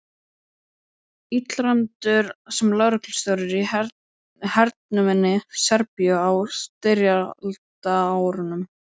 Illræmdur sem lögreglustjóri í hernuminni Serbíu á styrjaldarárunum.